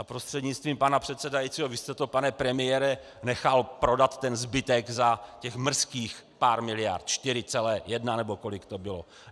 A prostřednictvím pana předsedajícího, vy jste, pane premiére, nechal prodat ten zbytek za těch mrzkých pár miliard, 4,1 nebo kolik to bylo.